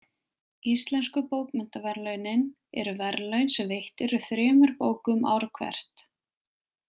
Íslensku bókmenntaverðlaunin eru verðlaun sem veitt eru þremur bókum ár hvert.